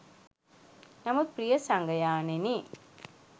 නමුත් ප්‍රිය සගයාණෙනි